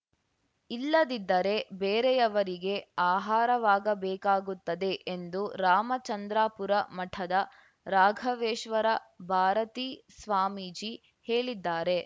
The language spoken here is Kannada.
ಇಲ್ಲದಿದ್ದರೆ ಬೇರೆಯವರಿಗೆ ಆಹಾರವಾಗಬೇಕಾಗುತ್ತದೆ ಎಂದು ರಾಮಚಂದ್ರಾಪುರ ಮಠದ ರಾಘವೇಶ್ವರ ಭಾರತೀ ಸ್ವಾಮೀಜಿ ಹೇಳಿದ್ದಾರೆ